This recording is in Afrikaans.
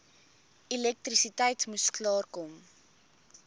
elektrisiteit moes klaarkom